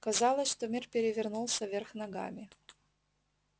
казалось что мир перевернулся вверх ногами